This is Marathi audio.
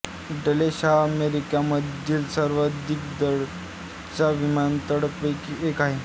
डलेस हा अमेरिकेमधील सर्वाधिक वर्दळीच्या विमानतळांपैकी एक आहे